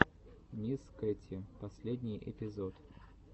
мисс кэти последний эпизод